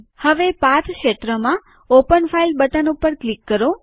હવે પાથ ક્ષેત્રમાં open file button ઉપર ક્લિક કરો